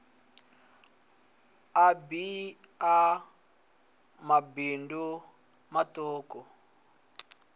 a bee ya mabindu matuku